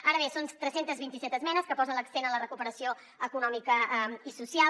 ara bé són tres cents i vint set esmenes que posen l’accent en la recuperació econòmica i social